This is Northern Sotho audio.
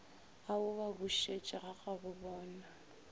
a o ba bušetše gagabobona